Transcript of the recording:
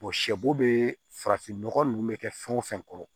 sɛ bo bee farafin nɔgɔ nunnu bɛ kɛ fɛn wo fɛn kɔrɔ